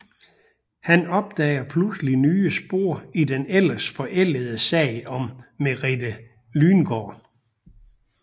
Han opdager pludselig nye spor i den ellers forældede sag om Merete Lyngaard